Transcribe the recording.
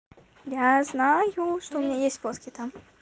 я знаю что у меня есть фотки там